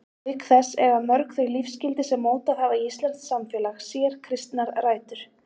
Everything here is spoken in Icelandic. Auk þess eiga mörg þau lífsgildi sem mótað hafa íslenskt samfélag sér kristnar rætur.